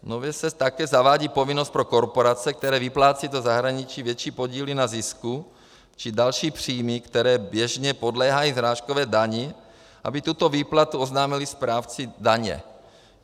Nově se také zavádí povinnost pro korporace, které vyplácejí do zahraničí větší podíly na zisku či další příjmy, které běžně podléhají srážkové dani, aby tuto výplatu oznámily správci daně.